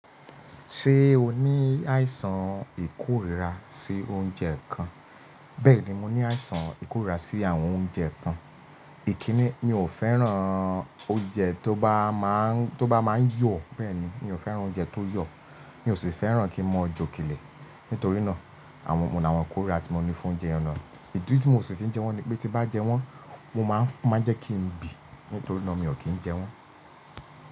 Ṣé o ní àìsàn ìkórira sí oúnjẹ kan? Bẹ́ẹ̀ni mo ní àìsàn ìkórira sí àwọn oúnjẹ kan. Ìkíni mi ò fẹ́ràn oúnjẹ tó bá máa ń yọ̀, bẹ́ẹ̀ni mi ò fẹ́ràn oúnjẹ tó yọ̀. Mi ò sì fẹ́ràn kí mo jókè lè. Nítorí náà àwọn oun ni ikórira tí mo ní fún jẹun na. Ìdí tí mio sì fi ń jẹ wọ́n ni pé tí n bá jẹ wọ́n mo máa ń jẹ́ kí n bí. Nítorí náà mi ò kí ń jẹ wọ́n.